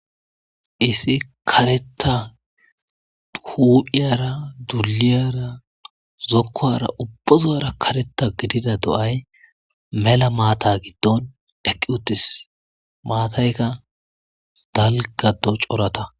Issi kareththa huphphyira duliyara zokuwara ubba sohuwara kareththa gididda do'ay mella maththa giddon eqqi uththis maththyikka dalga c'oraththa.